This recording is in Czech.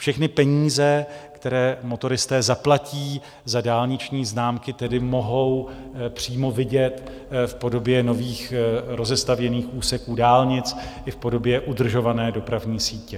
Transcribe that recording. Všechny peníze, které motoristé zaplatí za dálniční známky, tedy mohou přímo vidět v podobě nových rozestavěných úseků dálnic i v podobě udržované dopravní sítě.